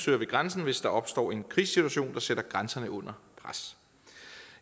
ved grænsen hvis der opstår en krisesituation der sætter grænsen under pres